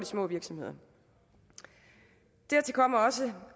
små virksomheder dertil kommer også